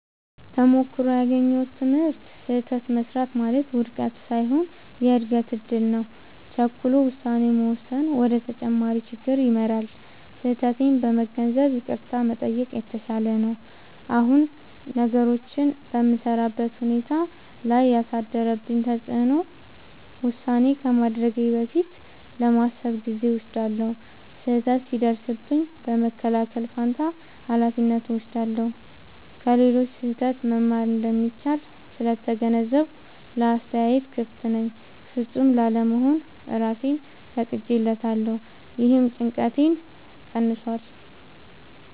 ተሞክሮው ያገኘሁት ትምህርት፦ · ስህተት መሥራት ማለት ውድቀት ሳይሆን የእድገት እድል ነው። · ቸኩሎ ውሳኔ መወሰን ወደ ተጨማሪ ችግር ይመራል። · ስህተቴን በመገንዘብ ይቅርታ መጠየቅ የተሻለ ነው። አሁን ነገሮችን በምሠራበት ሁኔታ ላይ ያሳደረው ተጽዕኖ፦ · ውሳኔ ከማድረጌ በፊት ለማሰብ ጊዜ እወስዳለሁ። · ስህተት ሲደርስብኝ በመከላከል ፋንታ ኃላፊነት እወስዳለሁ። · ከሌሎች ስህተት መማር እንደሚቻል ስለተገነዘብኩ ለአስተያየት ክፍት ነኝ። · ፍጹም ላለመሆን እራሴን ፈቅጄለታለሁ — ይህም ጭንቀቴን ቀንሷል።